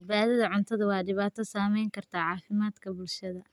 Badbaadada cuntadu waa dhibaato saamayn karta caafimaadka bulshada.